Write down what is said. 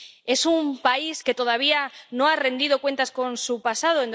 Es un país que todavía no ha saldado cuentas con su pasado.